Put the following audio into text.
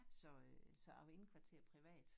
Så øh så jeg var indkvarteret privat